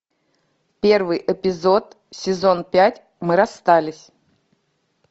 первый эпизод сезон пять мы расстались